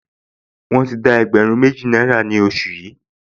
Wọ́n ti dá ẹgbẹ̀rún méjì náírà ní oṣù yìí